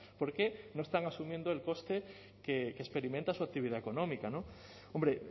porque no están asumiendo el coste que experimenta su actividad económica hombre